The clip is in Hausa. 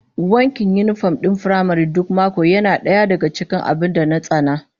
Wankin yinifom din firamare duk mako yana daya daga cikin abin da na tsana